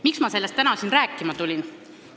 Miks ma sellest täna siia rääkima tulin?